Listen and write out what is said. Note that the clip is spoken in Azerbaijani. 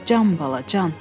Can bala, can!